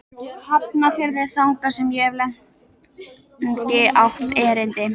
Hafnarfirði, þangað sem ég hef lengi átt erindi.